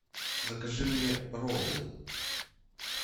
закажи мне роллы